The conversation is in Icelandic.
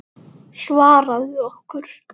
Svaraðu okkur.